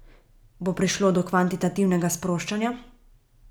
Bo prišlo do kvantitativnega sproščanja?